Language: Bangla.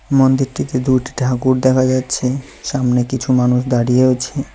মন্দিরটিতে দুইটি ঠাকুর দেখা যাচ্ছে সামনে কিছু মানুষ দাঁড়িয়েও আছে।